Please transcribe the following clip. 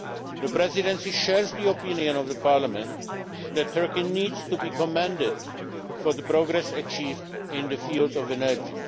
The Presidency shares the opinion of Parliament that Turkey needs to be commended for the progress achieved in the field of energy.